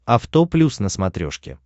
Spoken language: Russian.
авто плюс на смотрешке